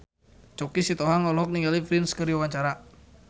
Choky Sitohang olohok ningali Prince keur diwawancara